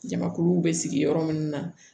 Jamakuluw bɛ sigi yɔrɔ minnu na